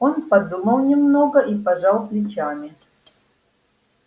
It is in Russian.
он подумал немного и пожал плечами